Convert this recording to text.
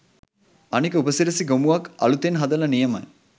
අනික උපසිරසි ගොමුවක් අලුතෙන් හදල නියමයි